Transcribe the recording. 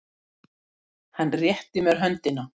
Baróninn fór upp á loft og lokaði sig inni í svefnherbergi sínu.